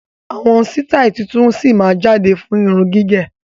Àwọn sitai tuntun sí máa jáde fún irun gígẹ̀.